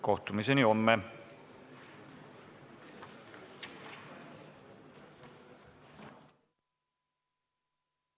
Kohtumiseni homme!